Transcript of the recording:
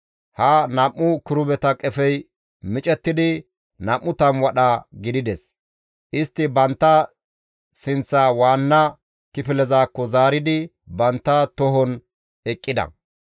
Ha nam7u kirubeta qefey micettidi 20 wadha gidides; istti bantta sinththaa waanna kifilezakko zaaridi bantta tohon eqqida.